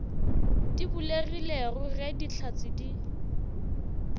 di bulegilego ge dihlatse di